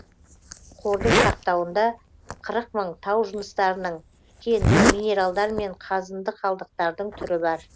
қордың сақтауында қырық мың тау жыныстарының кеннің минералдар мен қазынды қалдықтардың түрі бар